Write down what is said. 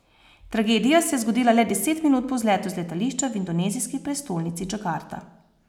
Tragedija se je zgodila le deset minut po vzletu z letališča v indonezijski prestolnici Džakarta.